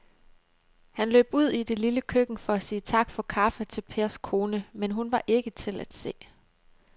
Han løb ud i det lille køkken for at sige tak for kaffe til Pers kone, men hun var ikke til at se.